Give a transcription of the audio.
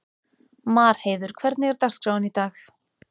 Marheiður, hvernig er dagskráin í dag?